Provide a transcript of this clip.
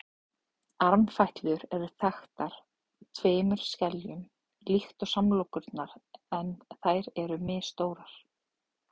armfætlur eru þaktar tveimur skeljum líkt og samlokurnar en þær eru misstórar